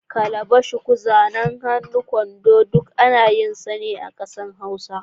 Kalba, shuku, zanen Hausa, kwando duk ana yin su a ƙasa Hausa.